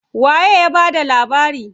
Waye ya bada labarin?